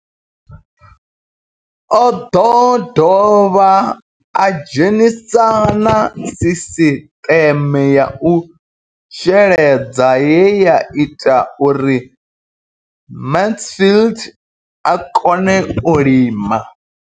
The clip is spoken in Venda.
O ḓo dovha a dzhenisa na sisiṱeme ya u sheledza ye ya ita uri Mansfied a kone u lima.